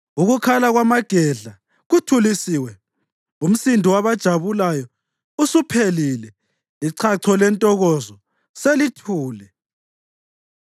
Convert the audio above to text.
Ukukhala kwamagedla kuthulisiwe, umsindo wabajabulayo usuphelile, ichacho lentokozo selithule.